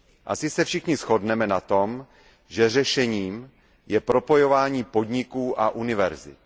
Asi se všichni shodneme na tom, že řešením je propojování podniků a univerzit.